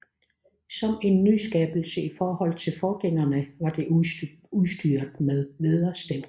Som en nyskabelse i forhold til forgængerne var de udstyret med vædderstævn